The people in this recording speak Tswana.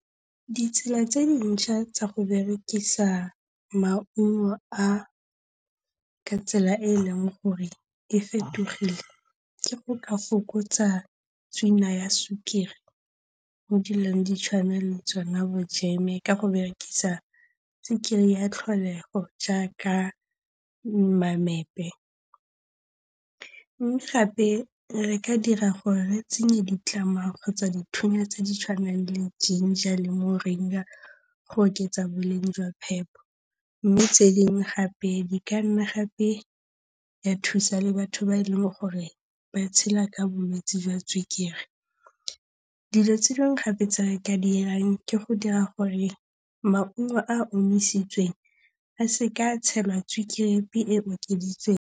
Ditsela tse dintšha tsa go berekisa maungo a ka tsela e e leng gore e fetogile, ke go ka fokotsa tswina ya sukiri mo dilong di tshwana le tsona bojeme ka go berekisa sukiri ya tlholego jaaka mamepe. Mme gape re ka dira gore re tsenye kgotsa dithunya tse di tshwanang le jinger le muringa go oketsa boleng jwa phepo. Mme tse dingwe gape di ka nna gape tsa thusa le batho ba e leng gore ba tshela ka bolwetsi jwa sukiri. Dilo tse dingwe gape tse re ka di dirang ke go dira gore maungo a a omisitsweng a se ka a tshelwa sukiri e e okeditsweng.